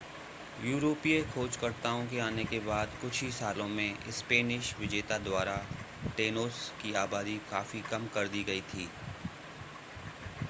यूरोपीय खोजकर्ताओं के आने के बाद कुछ ही सालों में स्पेनिश विजेता द्वारा टेनोस की आबादी काफी कम कर दी गई थी